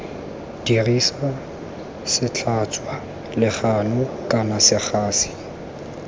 dirisa setlhatswa legano kana segasi